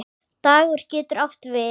Dagur getur átt við